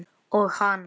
Og hann?